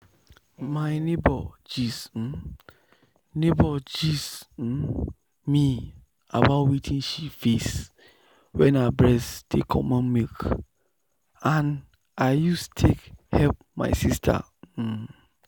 my neighbor gist um neighbor gist um me about wetin she face wen her breast dey comot milk and na i use take help myself. um